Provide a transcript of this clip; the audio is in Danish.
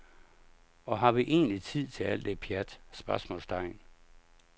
Og har vi egentlig tid til alt det pjat? spørgsmålstegn